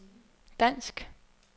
dansk